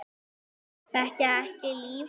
Þekkja ekki lífið.